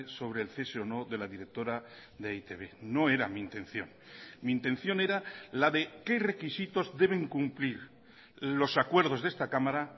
sobre el cese o no de la directora de e i te be no era mi intención mi intención era la de qué requisitos deben cumplir los acuerdos de esta cámara